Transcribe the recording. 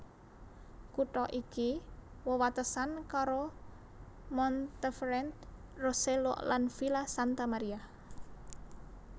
Kutha iki wewatesan karo Monteferrante Rosello lan Villa Santa Maria